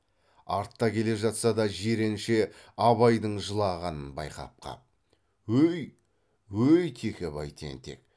артта келе жатса да жиренше абайдың жылағанын байқап қап өй өй текебай тентек